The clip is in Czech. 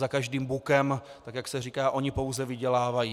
Za každým bukem, tak jak se říká, oni pouze vydělávají.